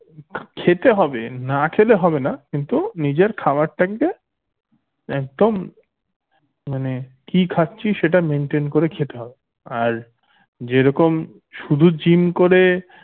খেতে হবে না খেলে হবেনা কিন্তু নিজের খাবার থাকবে একদম মানে কি খাচ্ছিস সেটা maintain করে খেতে হবে আর যেরকম শুধু gym kore